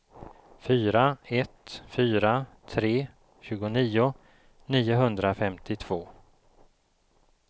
fyra ett fyra tre tjugonio niohundrafemtiotvå